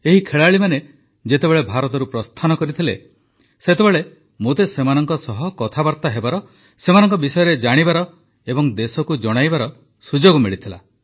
ଏହି ଖେଳାଳିମାନେ ଯେତେବେଳେ ଭାରତରୁ ପ୍ରସ୍ଥାନ କରିଥିଲେ ସେତେବେଳେ ମୋତେ ସେମାନଙ୍କ ସହ କଥାବାର୍ତ୍ତା ହେବାର ସେମାନଙ୍କ ବିଷୟରେ ଜାଣିବାର ଏବଂ ଦେଶକୁ ଜଣାଇବାର ସୁଯୋଗ ମିଳିଥିଲା